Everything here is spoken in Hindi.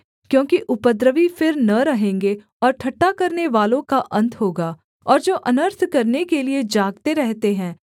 क्योंकि उपद्रवी फिर न रहेंगे और ठट्ठा करनेवालों का अन्त होगा और जो अनर्थ करने के लिये जागते रहते हैं